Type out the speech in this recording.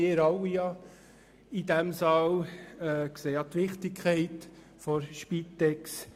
Wie wir alle in diesem Saal, sieht auch die FDP die Wichtigkeit der Spitex.